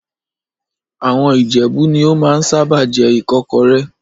Àwọn Ìjẹ̀bú ni ó máa ń sábà jẹ ìkọ́kọrẹ́